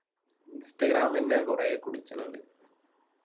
Instagram ന്നെ കൊറേ കുടിച്ചാണിണ്ട്